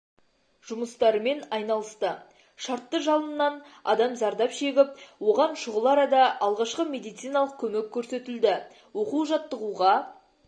жұмыстарымен айналысты шартты жалыннан адам зардап шегіп оған шұғыл арада алғашқы медициналық көмек көрсетілді оқу-жаттығуға